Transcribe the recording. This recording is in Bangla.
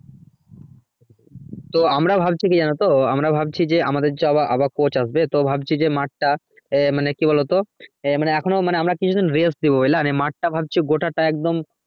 তো আমরা ভাবছি কি জানোতো আমরা ভাবছি যে আমাদের যে আবার coach আসবে তো ভাবছি যে মাঠ টা মানে কি বলতো মানে এখনোও আমরা কিছু দিন rest দেবো বুঝলা দিয়ে মাঠ টা ভাবছি গোটাটাই একদম